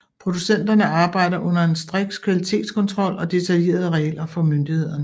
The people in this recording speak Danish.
Producenterne arbejder under en striks kvalitetskontrol og detaljerede regler fra myndighederne